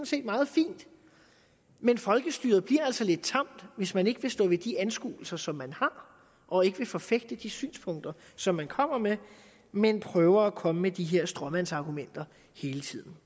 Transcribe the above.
set meget fint men folkestyret bliver altså lidt tamt hvis man ikke vil stå ved de anskuelser som man har og ikke vil forfægte de synspunkter som man kommer med men prøver at komme med de her stråmandsargumenter hele tiden